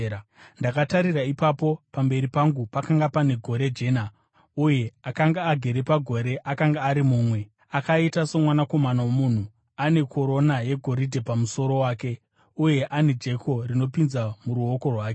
Ndakatarira, ipapo pamberi pangu pakanga pane gore jena, uye akanga agere pagore akanga ari mumwe “akaita somwanakomana womunhu” ane korona yegoridhe pamusoro wake uye ane jeko rinopinza muruoko rwake.